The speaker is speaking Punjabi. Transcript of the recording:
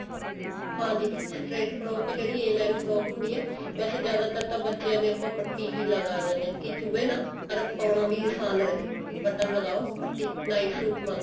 ਹਾਂ ਦੀਦੀ straight frock ਜਿਹੜੀ a line frock ਹੁੰਦੀ ਹੈ ਵੈਸੇ ਜਿਆਦਾਤਰ ਤਾਂ ਬੱਚਿਆ ਦੇ ਆਪਾਂ ਪੱਟੀ ਹੀ ਲਗਾ ਦਿੰਦੇ ਹਾਂ ਕਿ ਚੁਬੇ ਨਾ ਪਰ ਪਾਉਣਾ ਵੀ ਆਸਾਨ ਰਹੇ button ਲਗਾਓ ਪੱਟੀ night suit ਵਾਂਗ